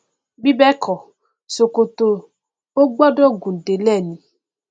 bí bẹẹkọ ṣòkòtò o gbọdọ gùn délẹ ni